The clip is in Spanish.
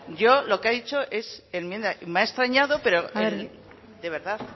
yo lo que ha dicho es enmienda y me ha extrañado pero de verdad